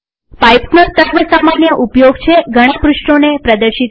પાઈપ્સનો સર્વ સામાન્ય ઉપયોગ છે ઘણા પૃષ્ઠોને પ્રદર્શિત કરવું